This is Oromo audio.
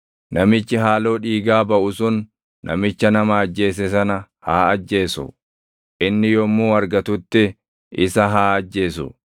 Namichi haaloo dhiigaa baʼu sun namicha nama ajjeese sana haa ajjeesu; inni yommuu argatutti isa haa ajjeesu.